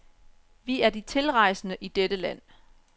Vi er de tilrejsende i dette land.